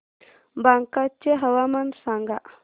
बांका चे हवामान सांगा